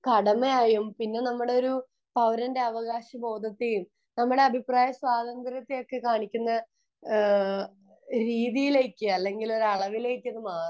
കടമ ആയും പിന്നെ നമ്മുടെ ഒരു പൗരന്റെ അവകാശ ബോധത്തെയും നമ്മളെ അഭിപ്രായ സ്വാതന്ത്ര്യത്തെ ഒക്കെ കാണിക്കുന്ന രീതിയിലേക്ക് അല്ലെങ്കിൽ അളവിലേക്ക് അത് മാറുന്നു